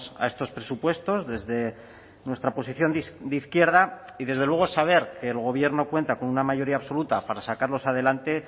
a estos presupuestos desde nuestra posición de izquierda y desde luego saber el gobierno cuenta con una mayoría absoluta para sacarlos adelante